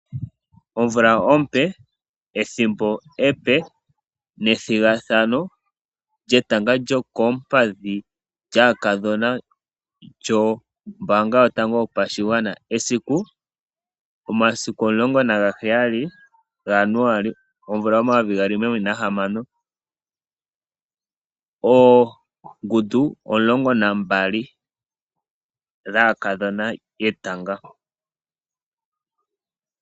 Omvula ompe, ethimbo epe nethigathano lyetanga lyokoompadhi lyaakadhona lyombaanga yotango yopashigwana. Esiku: omasiku omulongo nagaheyali gaJanuali gomvula omayovigaali nomilongo mbali nahamano, oongundu omulongo nambali dhetanga lyaakadhona.